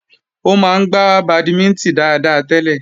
Ó máa ń gbà bàdímínítìn dáadáa tẹ́lẹ̀